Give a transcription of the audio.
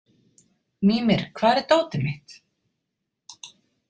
Mímir, hvar er dótið mitt?